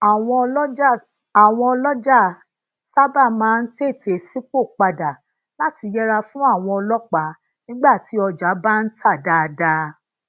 àwọn olọjà sábà máa ń tètè sipopada lati yẹra fún àwọn ọlópàá nígbà tí ọjà bá ń ta daadaa